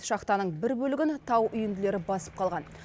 шахтаның бір бөлігін тау үйінділері басып қалған